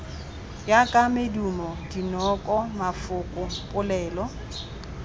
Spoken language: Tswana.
jaaka medumo dinoko mafoko polelo